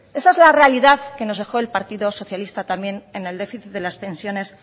esa es la realidad que nos dejó el partido socialista también en el déficit de las pensiones